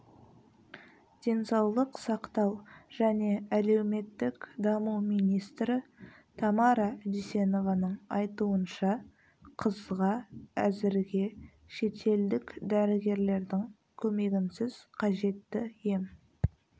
денсаулық сақтау және әлеуметтік даму министрі тамара дүйсенованың айтуынша қызға әзірге шетелдік дәрігерлердің көмегінсіз қажетті ем